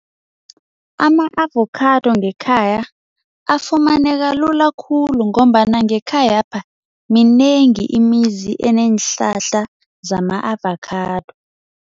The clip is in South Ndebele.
Ama-avokhado ngekhaya afumaneka lula khulu ngombana ngekhayapha minengi imizi eneenhlahla zama-avakhado.